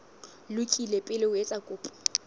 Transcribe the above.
lokile pele o etsa kopo